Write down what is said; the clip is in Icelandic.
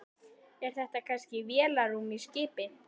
Er þetta kannski vélarrúm í skipi?